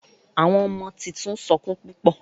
Àwọn ọmọ títún sọkún púpọ.